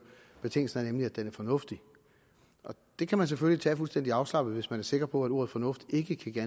betingelsen er nemlig at den er fornuftig det kan man selvfølgelig tage fuldstændig afslappet hvis man er sikker på at ordet fornuftig ikke kan give